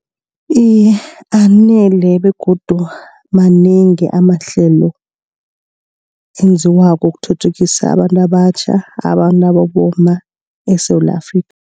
Iye anele begodu manengi amahlelo enziwako ukuthuthukisa abantu abatjha ababomma eSewula Afrika.